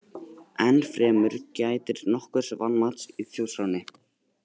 Enn fremur gætir nokkurs vanmats í Þjóðskránni.